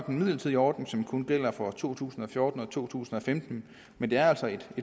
en midlertidig ordning som kun gælder for to tusind og fjorten og to tusind og femten men det er altså et